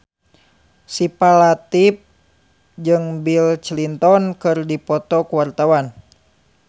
Syifa Latief jeung Bill Clinton keur dipoto ku wartawan